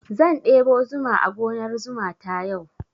Zan ɗebo zuma a gonar zuma ta yau.